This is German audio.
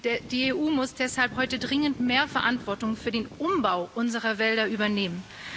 Die EU muss deshalb heute dringend mehr Verantwortung für den Umbau unserer Wälder übernehmen.